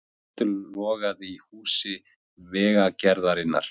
Eldur logaði í húsi Vegagerðarinnar